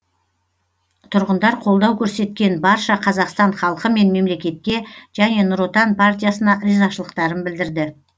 тұрғындар қолдау көрсеткен барша қазақстан халқы мен мемлекетке және нұр отан партиясына ризашылықтарын білдірді